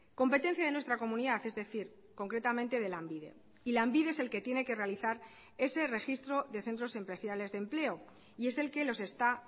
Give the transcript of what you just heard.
competencia de nuestra comunidad es decir concretamente de lanbide y lanbide es el que tiene que realizar ese registro de centros especiales de empleo y es el que los está